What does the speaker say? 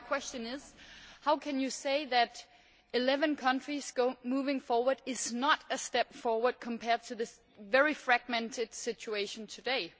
So my question is, how can you say that eleven countries moving forward is not a step forward compared to this very fragmented situation today?